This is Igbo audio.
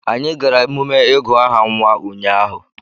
Anyị gara emume ịgụ aha nwa ụnyahụ